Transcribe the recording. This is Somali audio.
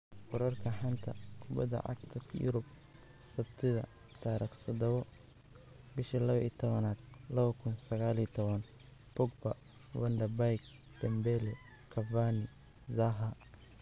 Wararka xanta kubada cagta Yurub sabtida 07.12.2019: Pogba, Van de Beek, Dembele, Cavani, Zaha